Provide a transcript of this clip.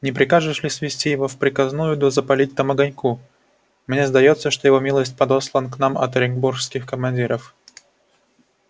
не прикажешь ли свести его в приказную да запалить там огоньку мне сдаётся что его милость подослан к нам от оренбургских командиров